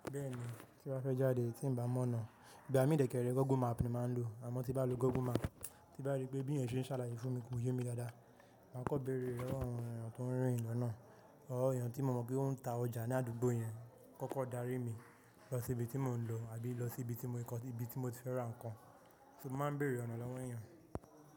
Bẹ́ẹ̀ni, tí n ba fẹ́ jáde tí ń bá mọ́ ọ̀nà, ìgbà mí dèkẹ̀rẹ̀ Google map ni máa ń lò, àmọ́ tí bá lo Google map, tí n bá rí pé bí èéyàn ṣe ń ṣàlàyé fún mi ko yè mi dáadáa, màá kọ́bèrè lọwọ awọn èèyàn tó ń rìn lọnáà, awọn èèyàn tí mo mọ̀ pé wọń ta ọjà ní àdúgbò yẹn, kọ́kọ́ darí mi lọ sí ibi tí mò ń lọ àbí lọ sí ibi tí mo ti fẹ́ ra nǹkan, so mo máa ń bèrè ọ̀nà lọ́wọ́ èèyàn.